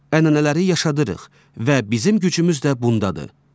ənənələri yaşadarıq və bizim gücümüz də bundadır.